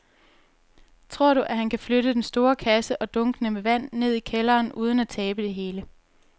Tror du, at han kan flytte den store kasse og dunkene med vand ned i kælderen uden at tabe det hele?